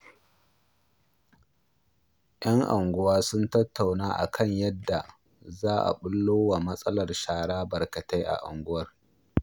Yan unguwa sun tattauna a kan yadda za a ɓullo wa matsalar shara barkatai a unguwar